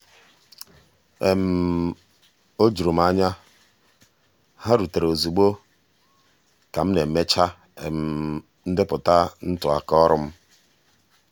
o juru m anya—ha rutere ozugbo ka m na-emecha ndepụta ntụaka ọrụ m.